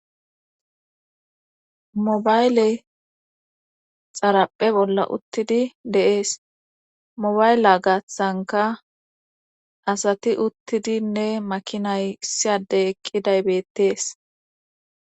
Mobayle xarapphe bolla uttidi deees mobayle gaathtsanka asati uttidinne makinay siyadey eqqiday bettees.